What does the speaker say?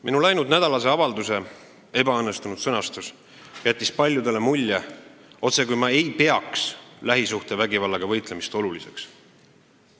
Minu läinudnädalase avalduse ebaõnnestunud sõnastus jättis paljudele mulje, otsekui ei peaks ma lähisuhtevägivallaga võitlemist oluliseks.